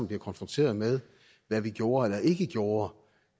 bliver konfronteret med hvad vi gjorde eller ikke gjorde